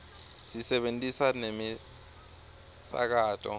sisebentisa nemisakato